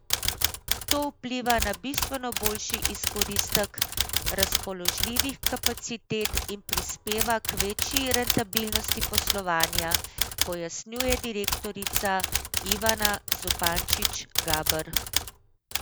To vpliva na bistveno boljši izkoristek razpoložljivih kapacitet in prispeva k večji rentabilnosti poslovanja, pojasnjuje direktorica Ivana Zupančič Gaber.